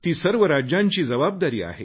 सर्व राज्यांची ती जबाबदारी आहे